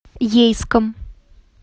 ейском